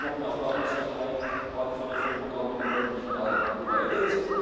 Das hätte noch mehr Planungssicherheit gerade für die Förderprogramme im ländlichen Raum bedeutet.